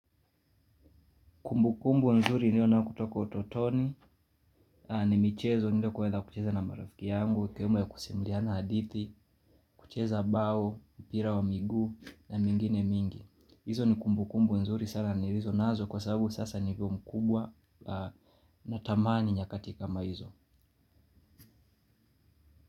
Kumbu kumbu nzuri niliyo nayo kutoka ototoni, ni michezo niliyo kuweza kucheza na marafiki yangu, kama kusimuliana hadithi, kucheza bao, mpira wa miguu na mingine mingi. Izo ni kumbu kumbu nzuri sana nilizo nazo kwa sababu sasa niko mkubwa natamani nyakati kama izo.